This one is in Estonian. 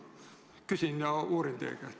Küsin ja uurin teie käest.